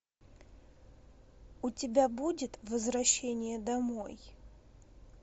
у тебя будет возвращение домой